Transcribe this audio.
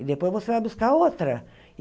E depois você vai buscar outra.